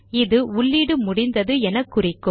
அது உள்ளீடு முடிந்தது என குறிக்கும்